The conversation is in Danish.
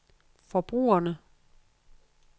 forbrugerne